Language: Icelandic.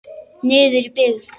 Niður í byggð.